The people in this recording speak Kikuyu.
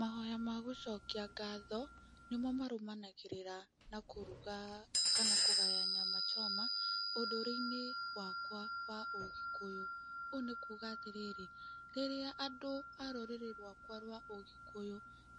Mahoya magũcokia ngatho, nĩmo marũmanagĩrĩra na kũruga kana kũgaya Nyama Choma, ũtũroinĩ wakwa wa ũgĩkũyũ. Ũũ nĩ kuga atĩrĩrĩ, rĩrĩa andũ a rũrĩrĩ rwakwa rwa ũgĩkũyũ,